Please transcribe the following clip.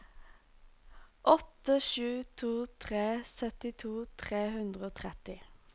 åtte sju to tre syttito tre hundre og tretti